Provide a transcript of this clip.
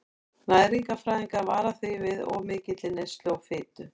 Næringarfræðingar vara því við of mikilli neyslu á fitu.